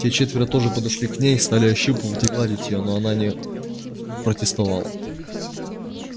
те четверо тоже подошли к ней стали ощупывать и гладить её но она не протестовала